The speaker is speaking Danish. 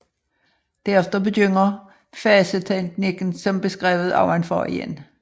Derefter begynder faseteknikken som beskrevet ovenfor igen